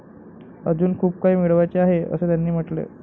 अजून खूप काही मिळवायचे आहे, असे त्याने म्हटले.